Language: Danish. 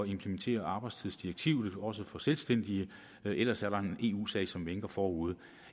implementere arbejdstidsdirektivet også for selvstændige ellers er der en eu sag som vinker forude